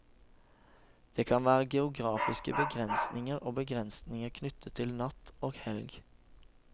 Det kan være geografiske begrensninger, og begrensninger knyttet til natt og helg.